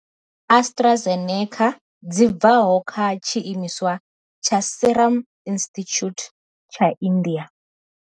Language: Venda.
Astra eneca dzi bvaho kha tshiimiswa tsha Serum Institute tsha India.